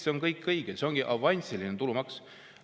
See on kõik õige, see ongi avansiline tulumaks.